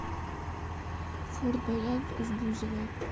форд боярд с бузовой